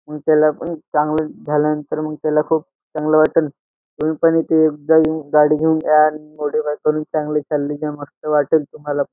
मग त्याला पण चांगलं झाल्यानंतर मग त्याला खूप चांगलं वाटन तुम्ही पण इथे एकदा येऊन गाडी घेऊन या मॉडिफाय पण चांगले चालले तेव्हा मस्त वाटलं तुम्हाला.